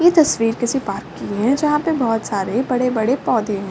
ये तस्वीर किसी पार्क की है जहाँ पे बहोत सारे बड़े बड़े पौधे हैं।